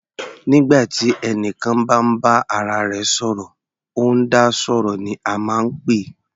Nígbà tí ẹnìkan bá ń bá ara rẹ̀ sọ̀rọ̀, ó ń dá sọ̀rọ̀ ní a máa ń pè é.